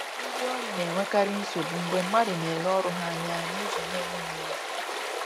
Ndi ọrụ na-enwekarị nsogbu mgbe mmadụ na-ele ọrụ ha anya n’ụzọ na-enweghị uru